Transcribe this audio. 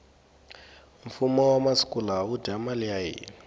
fumo wa masiku lawa wu dya mali ya hina